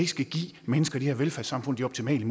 skal give mennesker i det her velfærdssamfund de optimale